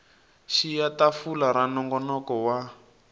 xiya tafula ra nongonoko wa